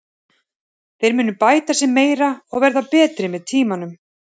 Þeir munu bæta sig meira og verða betri með tímanum.